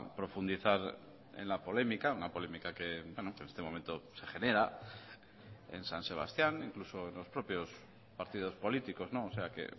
profundizar en la polémica una polémica que en este momento se genera en san sebastián incluso en los propios partidos políticos o sea que